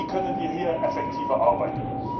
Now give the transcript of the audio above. Wie können wir hier effektiver arbeiten?